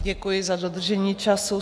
Děkuji za dodržení času.